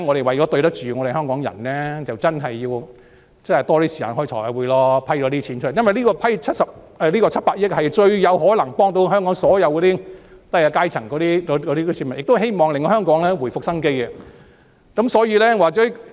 為了對得起香港人，我們要多些時間開財委會會議，以批出這些款項，因為這700億元是最能幫助香港低下階層的市民的，亦希望可令香港回復生機。